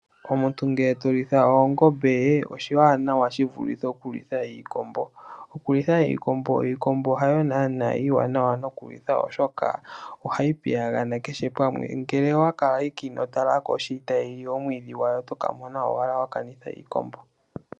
Omuntu ngele tolitha oongombe oshiwanawa shivulithe okulitha iikombo . Iikombo hayo naana iiwanawa nokulitha oshoka ohayi piyagana kehe pamwe, nge owakala ihe inotalako tayili omwiidhi gwayo oto kamona owala wa kanitha iikombo.